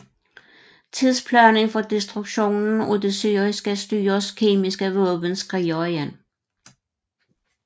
Tidsplanen for destruktionen af det syriske styres kemiske våben skrider igen